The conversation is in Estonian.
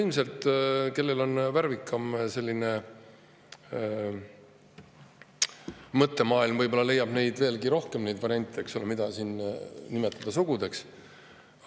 Ilmselt keegi, kellel on värvikam mõttemaailm, leiab veelgi rohkem neid variante, mida siin nimetada sugudeks.